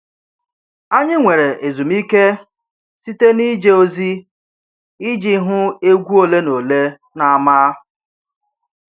Anyị nwere ezumike site n'ije ozi iji hụ egwu ole na ole n'ámá.